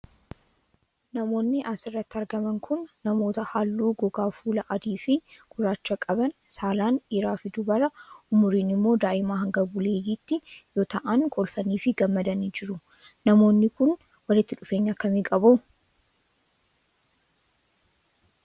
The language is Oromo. Namoonni as irratti argaman kun, namoota haalluu gogaa fuulaa adii fi gurraacha qaban, saalaan dhiiraa fi dubara, umuriin immoo daa'imaa hanga buleeyyitti yoo ta'an kolfanii fi gammadanii jiru. Namoonni kun, walitti dhufeenya akka kamii qabu?